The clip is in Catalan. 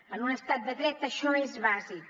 en un estat de dret això és bàsic